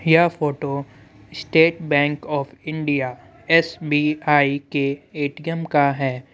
यह photo state bank of India Bank Of India) S B I) के A T M) का है।